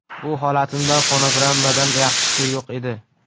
Bu holatimda fonogrammadan yaxshisi yo‘q edi.